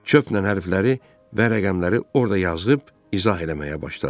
Çöplə hərfləri və rəqəmləri orda yazıb izah eləməyə başladı.